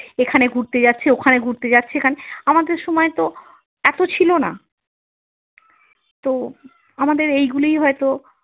এখানে ঘুরতে যাচ্ছে ওখানে ঘুরতে যাচ্ছে আমাদের সময় তো এত ছিল না তো আমাদের এইগুলোই হয়তো।